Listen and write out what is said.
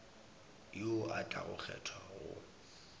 yo a tlago kgethwa go